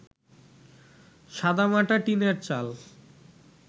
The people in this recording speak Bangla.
সাদামাটা টিনের চাল